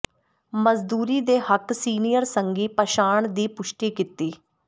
ਮਜ਼ਦੂਰੀ ਦੇ ਹੱਕ ਸੀਨੀਅਰ ਸੰਘੀ ਪਛਾਣ ਦੀ ਪੁਸ਼ਟੀ ਕੀਤੀ